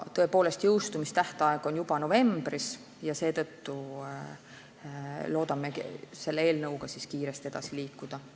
Tõepoolest, jõustumistähtaeg on juba novembris ja seetõttu loodame selle eelnõuga kiiresti edasi liikuda.